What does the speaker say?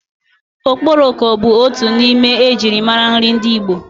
Okporoko bu otu n'ime ejirimara nri ndi Igbo.